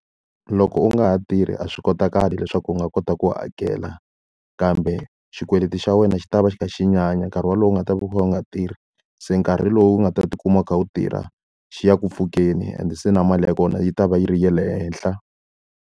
Loko u nga ha tirhi a swi kotakali leswaku u nga kota ku hakela, kambe xikweleti xa wena xi ta va xi kha xi nyanya nkarhi wolowo u nga ta va u kha u nga tirhi. Se nkarhi lowu nga ta tikuma u kha u tirha, xi ya ku pfukeni and se na mali ya kona yi ta va yi ri ya le henhla.